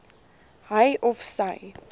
hy of sy